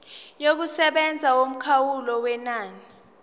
yokusebenza yomkhawulo wenani